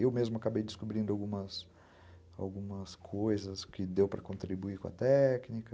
Eu mesmo acabei descobrindo algumas algumas coisas que deu para contribuir com a técnica...